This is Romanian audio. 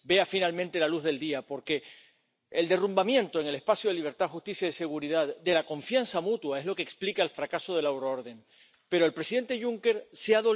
Parlamentul European, zilele acestea, a vibrat de cântece și dansuri populare românești. Ne trebuie o Europă a solidarității.